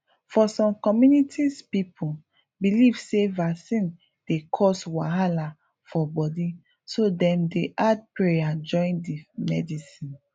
for some communities people believe say vaccine dey cause wahala for body so dem dey add pray join the medicine